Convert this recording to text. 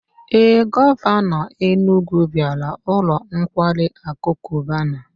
Ee, Govano Enugwu biara ulo nkwari aku Cubana